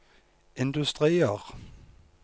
industrier